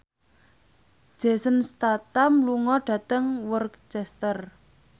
Jason Statham lunga dhateng Worcester